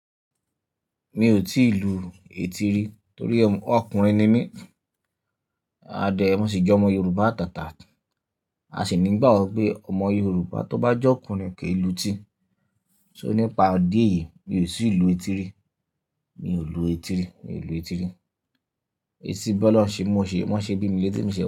Mi ò tíì lu etí rí torí ọkùnrin ni mí. A dẹ̀, mo sì jẹ́ ọmọ Yorùbá àtàtà, a sì ní ìgbà ọ pe ọmọ Yorùbá tó bá jẹ́ ọkùnrin kì í lu etí. So nípa idí eyí, mi ò tì lu etí rí. Mi ò lu etí rí, mi ò lu etí rí. Èsì bí ọlọ̀ṣè mo ṣe, wọ́n ṣe bí mi létí mo se.